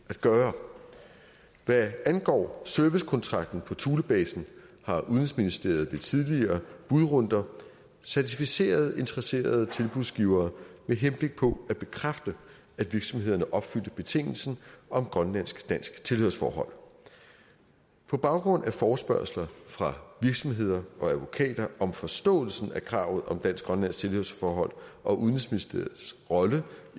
at gøre hvad angår servicekontrakten på thulebasen har udenrigsministeriet ved tidligere budrunder certificeret interesserede tilbudsgivere med henblik på at bekræfte at virksomhederne opfyldte betingelsen om grønlandsk dansk tilhørsforhold på baggrund af forespørgsler fra virksomheder og advokater om forståelsen af kravet om dansk grønlandsk tilhørsforhold og udenrigsministeriets rolle